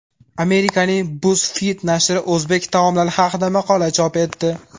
Amerikaning BuzzFeed nashri o‘zbek taomlari haqida maqola chop etdi.